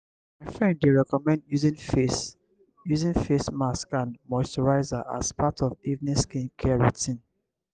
my friend dey recommend using face using face mask and moisturizer as part of evening skincare routine.